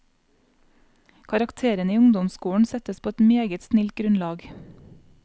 Karakterene i ungdomsskolen settes på et meget snilt grunnlag.